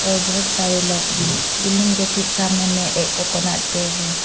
बहुत सारे लोग भी बिल्डिंग ठीक सामने में एक कोकोनट पेड़ है।